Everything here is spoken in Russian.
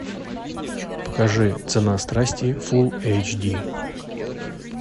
покажи цена страсти фул эйч ди